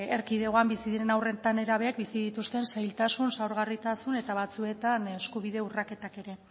erkidegoan bizi diren haur eta nerabeek bizi dituzten zailtasun zaurgarritasun eta batzuetan eskubide urraketak ere